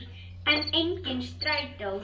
En, enginn strætó!